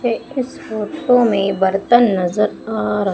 ये इस फोटो में बर्तन नजर आ र--